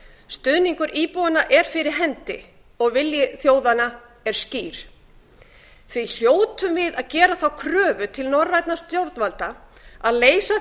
stuðningur íbúanna er fyrir hendi og vilji þjóðanna er skýr því hljótum við að gera þá kröfu til norrænna stjórnvalda að leysa